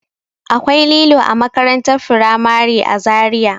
Akwai lilo a makarantar firamare a Zariya.